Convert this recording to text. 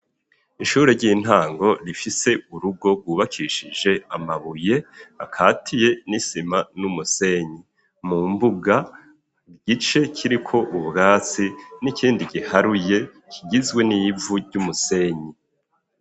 Ishure ry'intango rifise urugo gwubakishije amabuye akatiye ,n'isima ,n'umusenyi ,mu mbuga igice kiriko ubwatsi n'ikindi giharuye kigizwe n'ivu ry'umusenyi.